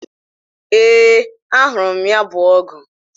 Ee, a nuru m ya bu ogwu